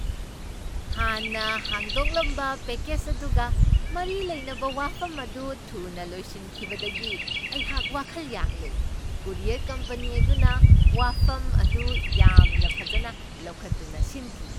ꯍꯥꯟꯅ ꯍꯥꯡꯗꯣꯛꯂꯝꯕ ꯄꯦꯀꯦꯖ ꯑꯗꯨꯒ ꯃꯔꯤ ꯂꯩꯅꯕ ꯋꯥꯐꯝ ꯑꯗꯨ ꯊꯨꯅ ꯂꯣꯏꯁꯤꯟꯈꯤꯕꯗꯒꯤ ꯑꯩꯍꯥꯛ ꯋꯥꯈꯜ ꯌꯥꯡꯂꯦ ꯫ ꯀꯨꯔꯤꯌꯔ ꯀꯝꯄꯅꯤ ꯑꯗꯨꯅ ꯋꯥꯐꯝ ꯑꯗꯨ ꯌꯥꯝꯅ ꯐꯖꯅ ꯂꯧꯈꯠꯇꯨꯅ ꯁꯤꯟꯈꯤ ꯫